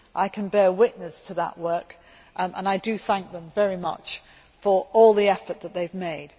I can bear witness to that work and I thank them very much for all the effort that they have made.